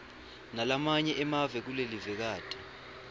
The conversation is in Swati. nalamanye emave kulelivekati